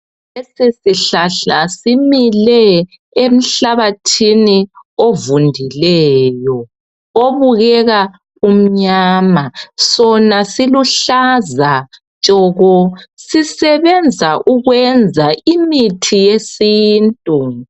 Lesi hlahla simile enhlabathini evundileyo ebukeka imnyama sona isihlahla sikhanya siluhlaza tshoko sisebenza ukwenza imithi yesintu